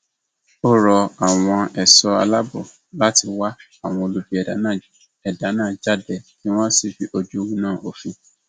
ó rọ àwọn ẹṣọ aláàbọ láti wá àwọn olubi ẹdá náà ẹdá náà jáde kí wọn sì fojú winá òfin